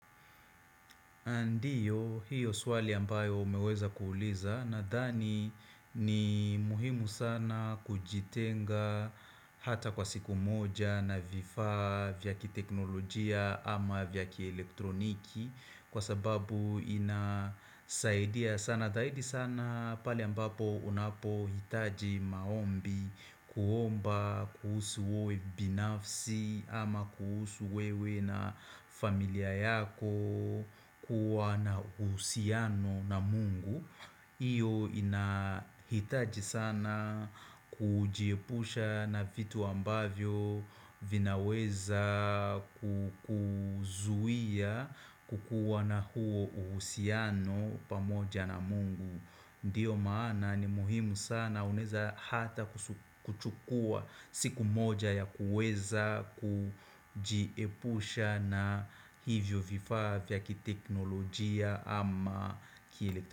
Ndio, hiyo swali ambayo umeweza kuuliza nadhani ni muhimu sana kujitenga hata kwa siku moja na vifaa vya kiteknolojia ama vya kielektroniki Kwa sababu inasaidia sana zaidi sana pale ambapo unapo hitaji maombi kuomba kuhusu wewe binafsi ama kuhusu wewe na familia yako kuwa na uhusiano na mungu hiyo inahitaji sana kujiepusha na vitu ambavyo vinaweza kukuzuia kukuwa na huo uhusiano pamoja na mungu Ndiyo maana ni muhimu sana unaeza hata kuchukua siku moja ya kueza kujiepusha na hivyo vifaa vya kiteknolojia ama kielektro.